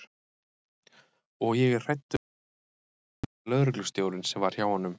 Og ég er hrædd um að hann geri það líka lögreglustjórinn sem var hjá honum.